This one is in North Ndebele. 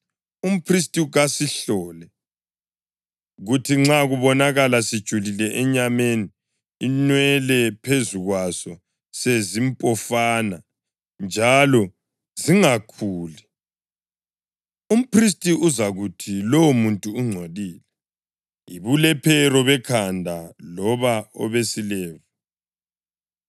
umphristi kasihlole, kuthi nxa kubonakala sijulile enyameni, inwele phezu kwaso sezimpofana njalo zingakhuli, umphristi uzakuthi lowomuntu ungcolile, yibulephero bekhanda loba obesilevu.